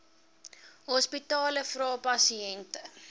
hospitale vra pasiënte